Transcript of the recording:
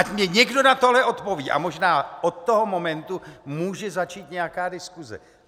Ať mně někdo na tohle odpoví a možná od toho momentu může začít nějaká diskuse.